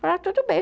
Falaram, tudo bem.